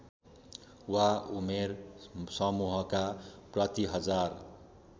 वा उमेर समूहका प्रतिहजार